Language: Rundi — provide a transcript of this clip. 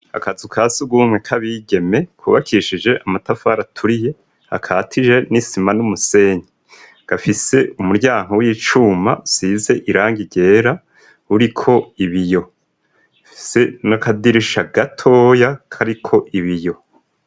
Akazu ka surwumwe k'abigeme, kubakishije amatafari aturiye, akatije n'isima n'umusenyi, gafise umuryango w'icuma usize irangi ryera uriko ibiyo, ufise n'akadirisha gatoya kariko ibiyo.